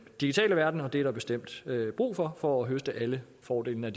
digitale verden og det er der bestemt brug for for at høste alle fordelene